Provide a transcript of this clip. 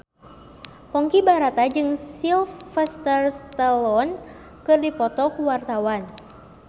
Ponky Brata jeung Sylvester Stallone keur dipoto ku wartawan